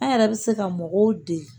An yɛrɛ bɛ se ka mɔgɔw dege